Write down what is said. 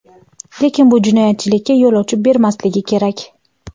lekin bu jinoyatchilikka yo‘l ochib bermasligi kerak.